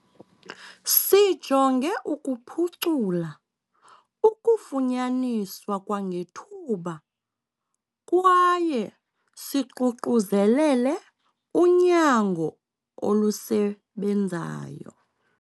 "Sijonge ukuphucula ukufunyaniswa kwangethuba kwaye siququzelele unyango olusebenzayo."